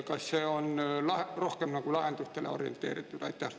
Kas see on rohkem nagu lahendustele orienteeritud?